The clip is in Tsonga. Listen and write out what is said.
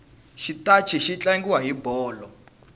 xitachi xi tlangiwa hi bolo